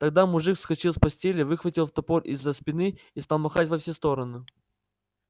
тогда мужик вскочил с постели выхватил топор из-за спины и стал махать во все стороны